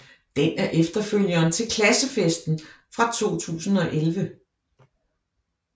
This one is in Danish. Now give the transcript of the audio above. Den er efterfølgeren til Klassefesten fra 2011